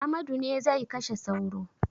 Amadu ne zai kashe sauro.